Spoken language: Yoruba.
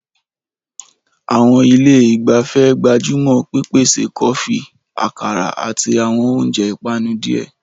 Àwọn ilé ìgbafẹ́ gbájú mọ́ pípèsè kọfí, àkàrà, àti àwọn oúnjẹ ìpanu díẹ̀.